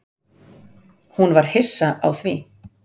Hún var hissa á því.